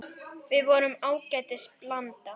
Við vorum ágætis blanda.